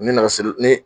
N bɛna siri ni ne ye